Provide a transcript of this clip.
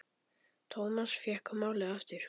Thomas fékk málið aftur.